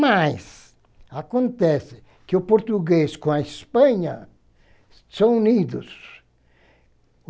Mas acontece que o português com a Espanha são unidos.